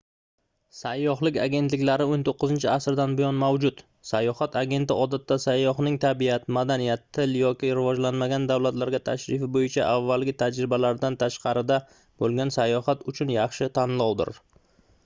sayyohlik agentliklari 19-asrdan buyon mavjud sayohat agenti odatda sayyohning tabiat madaniyat til yoki rivojlanmagan davlatlarga tashrif boʻyicha avvalgi tajribalaridan tashqarida boʻlgan sayohat uchun yaxshi tanlovdir